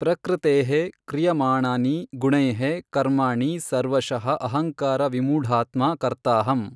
ಪ್ರಕೃತೇಃ ಕ್ರಿಯಮಾಣಾನಿ ಗುಣೈಃ ಕರ್ಮಾಣಿ ಸರ್ವಶಃ ಅಹಂಕಾರ ವಿಮೂಢಾತ್ಮಾ ಕರ್ತಾಹಮ್.